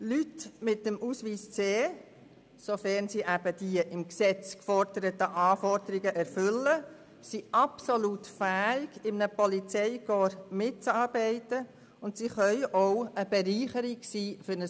Leute mit dem C-Ausweis, sofern sie diese im Gesetz geforderten Anforderungen erfüllen, sind absolut fähig, in einem Polizeikorps mitzuarbeiten, und sie können zudem eine Bereicherung sein.